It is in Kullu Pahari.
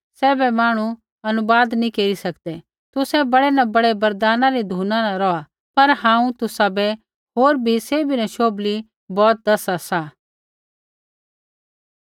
सैभे मांहणु अनुवाद नी केरी सकदै तुसै बड़ै न बड़ै वरदाना री धुना न रौहा पर हांऊँ तुसाबै होर भी सैभी न शोभली बौत दसा सा